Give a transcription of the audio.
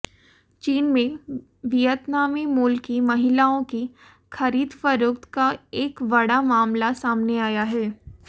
चीन में वियतनामी मूल की महिलाओं की खरीदफरोक्त का एक बड़ा मामला सामने आया है